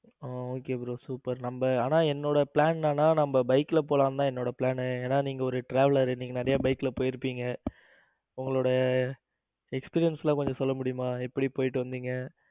ஆ okay bro super நம்ம ஆனா என்னோட plan என்னன்னா நம்ம bike ல போலாம்னுதா என்னோட plan ஏன்னா நீங்க ஒரு traveller நீங்க நிறைய bike ல போயிருப்பீங்க உங்களோட experience எல்லாம் கொஞ்சம் சொல்ல முடியுமா எப்படி போயிட்டு வந்தீங்க